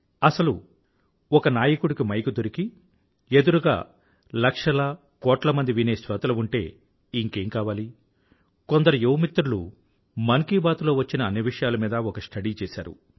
అసలు ఒక నాయకుడికి మైకు దొరకి ఎదురుగా లక్షల కోట్ల మంది వినే శ్రోతలు ఉంటే ఇంకేం కావాలి కొందరు యువమిత్రులు మన్ కీ బాత్ లో వచ్చిన అన్ని విషయాల మీదా ఒక స్టడీ చేశారు